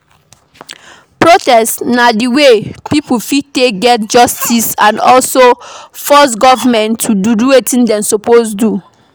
Protest na way wey pipo fit take get justice and also force government to do wetin dem suppose do